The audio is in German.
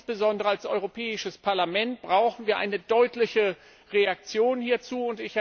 insbesondere als Europäisches Parlament brauchen wir eine deutliche Reaktion hierzu.